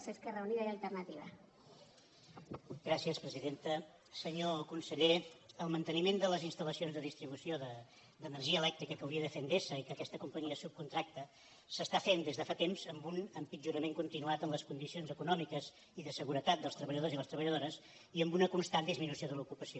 senyor conseller el manteniment de les instal·lacions de distribució d’energia elèctrica que hauria de fer endesa i que aquesta companyia subcontracta s’està fent des de fa temps amb un empitjorament continuat en les condicions econòmiques i de seguretat dels treballadors i les treballadores i amb una constant disminució de l’ocupació